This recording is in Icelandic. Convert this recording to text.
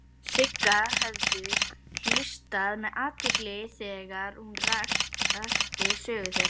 Sigga höfðu hlustað með athygli þegar hún rakti sögu þeirra.